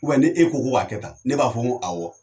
ni e ko ko k'a kɛ tan ne b'a fɔ ko ayi